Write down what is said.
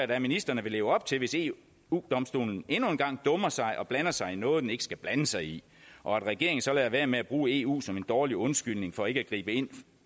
da at ministrene vil leve op til hvis eu domstolen endnu en gang dummer sig og blander sig i noget den ikke skal blande sig i og at regeringen så lader være med at bruge eu som en dårlig undskyldning for ikke at gribe ind